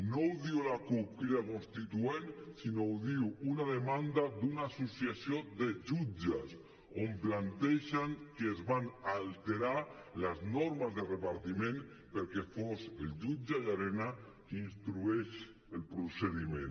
no ho diu la cup crida constituent sinó que ho diu una demanda d’una associació de jutges que plantegen que es van alterar les normes de repartiment perquè fos el jutge llarena qui instruís el procediment